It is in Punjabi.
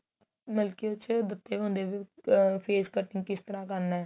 ਮਤਲਬ ਕੀ ਉਸ ਚ ਦਿੱਤੇ ਹੁੰਦੇ ਏ ਵੀ ਆ face cutting ਕਿਸਤਰਾਂ ਕਰਨਾ